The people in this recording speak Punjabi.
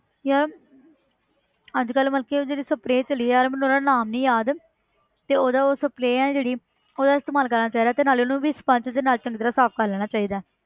ਯਾਰ ਅੱਜ ਕੱਲ੍ਹ ਮਤਲਬ ਕਿ ਉਹ ਜਿਹੜੀ spray ਚੱਲੀ ਯਾਰ ਮੈਨੂੰ ਉਹਦਾ ਨਾਮ ਨੀ ਯਾਦ ਤੇ ਉਹਦਾ ਉਹ spray ਆ ਜਿਹੜੀ ਉਹਦਾ ਇਸਤੇਮਾਲ ਕਰਨਾ ਚਾਹੀਦਾ ਤੇ ਨਾਲੇ ਉਹਨੂੰ ਵੀ sponge ਦੇ ਨਾਲ ਚੰਗੀ ਤਰ੍ਹਾਂ ਸਾਫ਼ ਕਰ ਲੈਣਾ ਚਾਹੀਦਾ ਹੈ